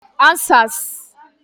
Answers